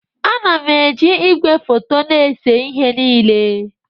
Ana m eji igwefoto na-ese ihe niile